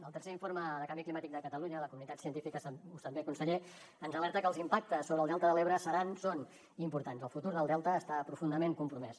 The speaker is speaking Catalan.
el tercer informe de canvi climàtic de catalunya la comunitat científica ho sap bé conseller ens alerta que els impactes sobre el delta de l’ebre seran són importants el futur del delta està profundament compromès